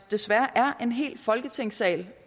desværre er en hel folketingssal